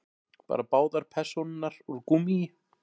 Bara báðar persónurnar úr gúmmíi.